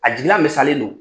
A jigila misalen do.